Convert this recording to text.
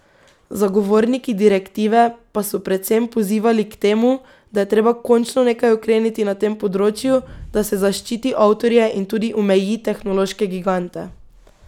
Zagovorniki direktive pa so predvsem pozivali k temu, da je treba končno nekaj ukreniti na tem področju, da se zaščiti avtorje in tudi omeji tehnološke gigante.